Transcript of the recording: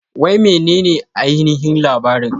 Wai menene ainihin labarin?